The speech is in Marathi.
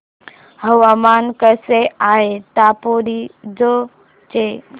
हवामान कसे आहे दापोरिजो चे